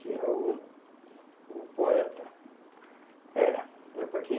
Que é o o poeta. É. É para quem